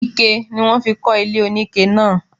Ike ni wọ́n fi kọ́ ilé oníke náa.